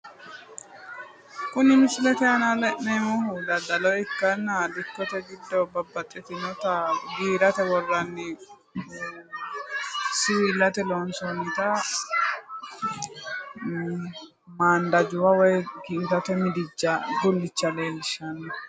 Kuni misilete aana la'neemmohu daddalo ikkanna dikkote giddo babbaxxitina giirate worranni siwillate loonsoonnitia mandajubba woy giirate midijja gullicha leellishshanno.